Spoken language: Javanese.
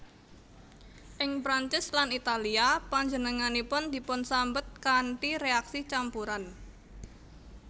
Ing Prancis lan Italia panjenenganipun dipunsambet kanthi réaksi campuran